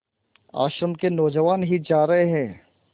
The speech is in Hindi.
आश्रम के नौजवान ही जा रहे हैं